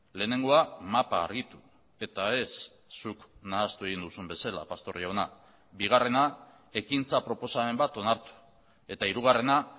lehenengoa mapa argitu eta ez zuk nahastu egin duzun bezala pastor jauna bigarrena ekintza proposamen bat onartu eta hirugarrena